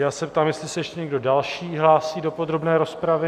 Já se ptám, jestli se ještě někdo další hlásí do podrobné rozpravy.